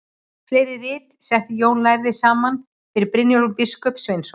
Fleiri rit setti Jón lærði saman fyrir Brynjólf biskup Sveinsson.